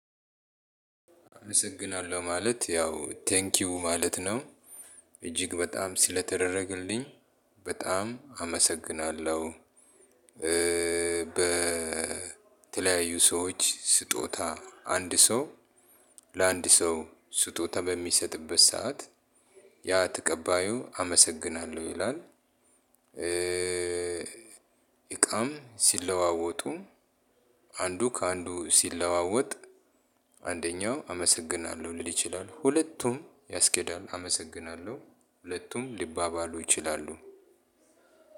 አመሰግናለሁ ማለት ያው ቴንኪው ማለት ነው። እጅግ በጣም ስለተደረገልኝ በጣም አመሰግናለሁ። በተለያዩ ሰዎች ስጦታ አንድ ሰው ለአንድ ሰው ስጦታ በሚሰጥበት ሰዓት ያ ተቀባዩ አመሰግናለሁ ይላል። እቃም ሲለዋወጡ አንዱ ከአንዱ ሲለዋወጥ አንደኛው አመሰግናለሁ ሊል ይችላል። ሁለቱም ያስኬዳል አመሰግናለሁ ሁለቱም ሊባባሉ ይችላሉ።